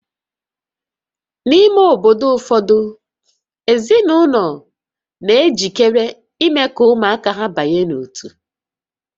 N'ime obodo ụfọdụ, ezinụlọ na-ejikere ime ka ụmụaka ha banye n'ótú